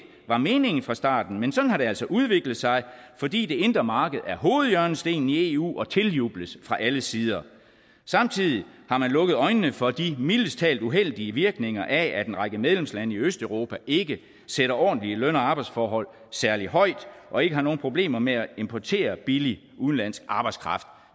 var meningen fra starten men sådan har det altså udviklet sig fordi det indre marked er hovedhjørnestenen i eu og tiljubles fra alle sider samtidig har man lukket øjnene for de mildest talt uheldige virkninger af at en række medlemslande i østeuropa ikke sætter ordentlige løn og arbejdsforhold særlig højt og ikke har nogen problemer med at importere billig udenlandsk arbejdskraft